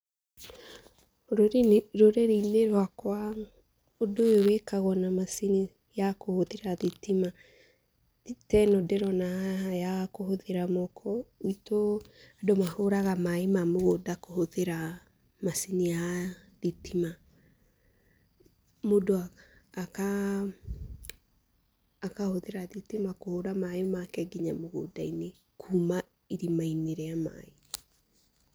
Rũrĩrĩinĩ rwakwa ũndũ ũyũ wĩkagwo na macini ya kũhũtihĩra thitima, ta ĩno ndĩrona haha ya kũhũthĩra moko. Gwitũ andũ mahũraga maaĩ ma mũgũnda kũhũthĩra macini ya thitima. Mũndũ akahũthĩra thitima kũhũra maaĩ make nginya mũgũndainĩ kuma irimainĩ rĩa maaĩ.